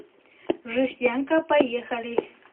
жестянка поехали